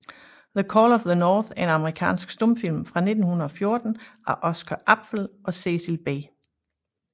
The Call of the North er en amerikansk stumfilm fra 1914 af Oscar Apfel og Cecil B